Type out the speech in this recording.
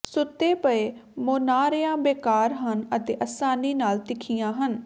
ਸੁੱਤੇ ਪਏ ਮੁਨਾਰਿਆਂ ਬੇਕਾਰ ਹਨ ਅਤੇ ਆਸਾਨੀ ਨਾਲ ਤਿੱਖੀਆਂ ਹਨ